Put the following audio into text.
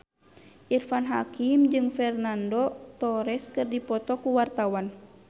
Irfan Hakim jeung Fernando Torres keur dipoto ku wartawan